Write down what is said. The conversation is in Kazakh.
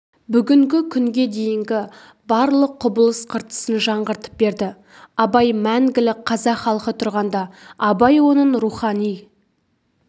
бүгінгі күнге дейінгі барлық құбылыс-қыртысын жаңғыртып берді абай мәңгілік қазақ халқы тұрғанда абай оның рухани